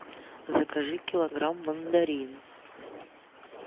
закажи килограмм мандарин